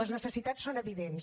les necessitats són evidents